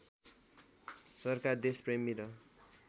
सरकार देशप्रेमी र